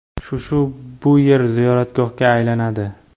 Shu-shu bu yer ziyoratgohga aylanadi.